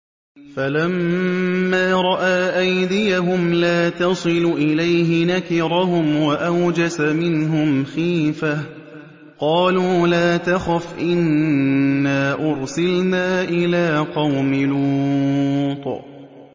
فَلَمَّا رَأَىٰ أَيْدِيَهُمْ لَا تَصِلُ إِلَيْهِ نَكِرَهُمْ وَأَوْجَسَ مِنْهُمْ خِيفَةً ۚ قَالُوا لَا تَخَفْ إِنَّا أُرْسِلْنَا إِلَىٰ قَوْمِ لُوطٍ